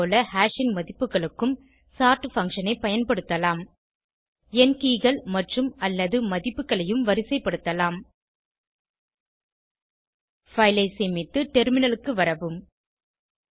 அதேபோல ஹாஷ் ன் மதிப்புகளுக்கும் சோர்ட் பங்ஷன் ஐ பயன்படுத்தலாம் எண் keyகள் மற்றும்அல்லது மதிப்புகளையும் வரிசைபடுத்தலாம் பைல் ஐ சேமித்து டெர்மினலுக்கு வரவும்